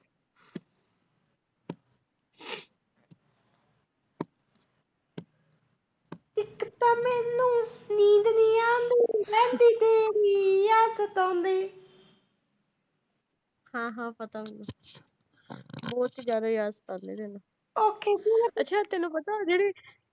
ਹਾਂ ਹਾਂ ਪਤਾ। ਉਹਂਦੇ ਚ ਜ਼ਿਆਦਾ ਏ ਅੱਗ ਏ। ਅੱਛਾ ਤੈਨੂੰ ਪਤਾ।